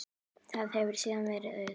Þar hefur síðan verið auðn.